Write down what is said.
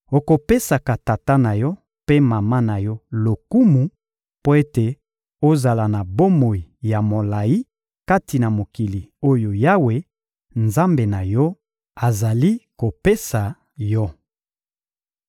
Okopesaka tata na yo mpe mama na yo lokumu mpo ete ozala na bomoi ya molayi kati na mokili oyo Yawe, Nzambe na yo, azali kopesa yo.